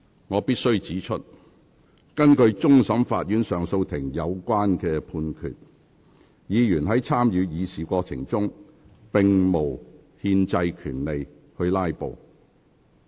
我必須指出，根據終審法院及上訴法庭的有關判決，議員在參與議事過程中，並無憲制權利"拉布"。